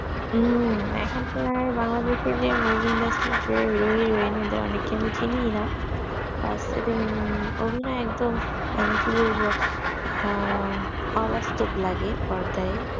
এখুন কি বাংলাদেশ এর যে movie-industry যে hero heroine অনেককে তো চিনি না আর তাদের অভিনয় একদম মানে ক বলবো আহ অবাস্তব লাগে পর্যায়ে